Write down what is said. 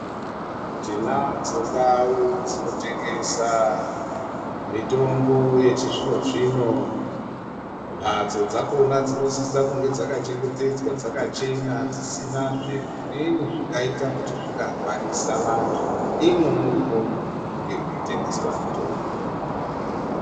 Tinadzo ndau dzinotengesa mitombo yechizvino-zvino. Mbatso dzakona dzinosisa kunge dzakachengetedzwa, dzakachena, dzisinazve zvimweni zvingaita kuti zvingarwarisa vantu, imwo murimo munenge mweitengeswa mitombo.